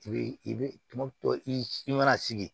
I bɛ i bɛ tumu to i mana sigi